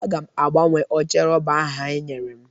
Aga m agbanwe oche rọba ha nyere m